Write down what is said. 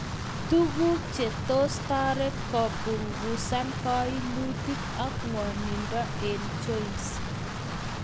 Tuguk che toss tarit kopunguzan kainmutik ak ngwanindoo eng joints